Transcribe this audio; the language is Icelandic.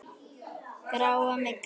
Grá. mygla!